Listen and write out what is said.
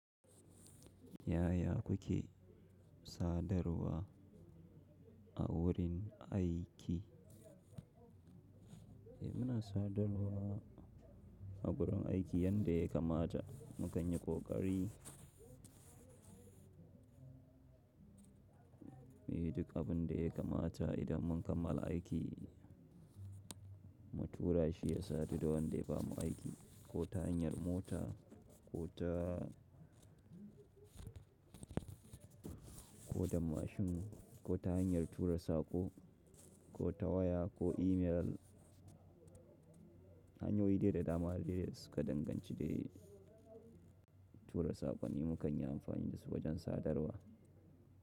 Yaya kuke sadarwa a wurin aiki? Eh muna sadarwa a gurin aiki yanda ya kamata. Mu kan yi kokari. Duk abin da ya kamata idan mun kammala aiki mu tura shi ya sadu da wanda ya bamu aiki ko ta hanyar mota ko da mashin ko ta hanyar tura saƙo ko ta waya ko imel. Hanyoyi dai da dama da suka danganci dai tura saƙonni mu kan yi amfani da su wajen sadarwa.